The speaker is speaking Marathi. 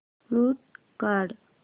म्यूट काढ